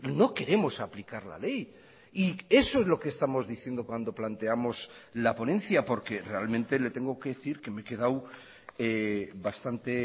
no queremos aplicar la ley y eso es lo que estamos diciendo cuando planteamos la ponencia porque realmente le tengo que decir que me he quedado bastante